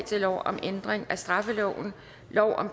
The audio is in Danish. eller om ændringsforslag nummer